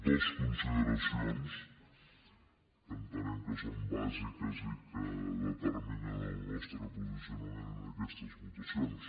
dues consideracions que entenem que són bàsiques i que determinen el nostre posicionament en aquestes votacions